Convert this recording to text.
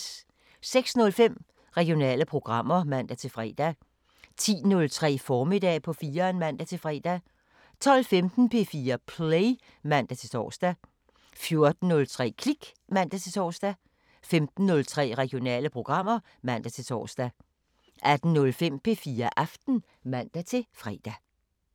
06:05: Regionale programmer (man-fre) 10:03: Formiddag på 4'eren (man-fre) 12:15: P4 Play (man-tor) 14:03: Klik (man-tor) 15:03: Regionale programmer (man-tor) 18:05: P4 Aften (man-fre)